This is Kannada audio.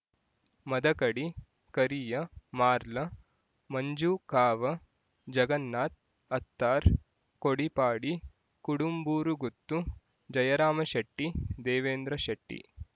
ಮದಕಡಿ ಕರಿಯ ಮಾರ್ಲ ಮಂಜು ಕಾವ ಜಗನ್ನಾಥ್ ಅತ್ತಾರ್ ಕೊಡಿಪಾಡಿ ಕುಡುಂಬೂರುಗುತ್ತು ಜಯರಾಮಶೆಟ್ಟಿ ದೇವೇಂದ್ರಶೆಟ್ಟಿ